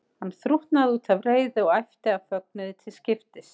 Hann þrútnaði út af reiði og æpti af fögnuði til skiptis.